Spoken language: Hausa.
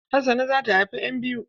Hassana za ta haifa ƴan biyu.